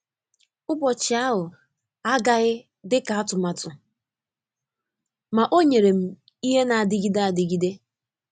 Ụbọchị ahụ agaghị dị ka atụmatụ, ma o nyere m ihe na-adịgide adịgide.